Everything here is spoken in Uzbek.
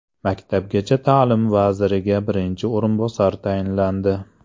Maktabgacha ta’lim vaziriga birinchi o‘rinbosar tayinlandi.